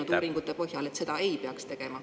Nad on ise öelnud uuringutes, et seda ei peaks tegema.